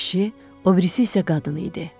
Biri kişi, o birisi isə qadın idi.